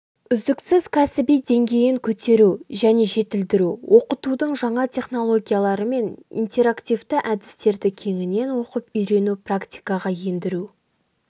үздіксіз кәсіби деңгейін көтеру және жетілдіру оқытудың жаңа технологиялары мен интерактивті әдістерді кеңінен оқып-үйрену практикаға ендіру